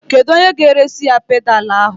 Kedụ onye ga-eresi ya pedalu ahụ?